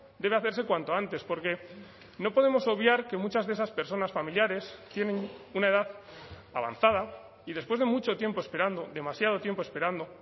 debe hacerse cuanto antes porque no podemos obviar que muchas de esas personas familiares tienen una edad avanzada y después de mucho tiempo esperando demasiado tiempo esperando